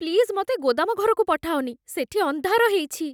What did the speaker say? Please ମତେ ଗୋଦାମଘରକୁ ପଠାଅନି । ସେଠି ଅନ୍ଧାର ହେଇଛି ।